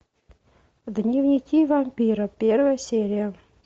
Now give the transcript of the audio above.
дневники вампира первая серия